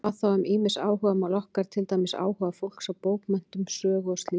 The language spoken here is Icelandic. Hvað þá um ýmis áhugamál okkar, til dæmis áhuga fólks á bókmenntum, sögu og slíku?